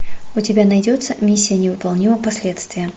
у тебя найдется миссия невыполнима последствия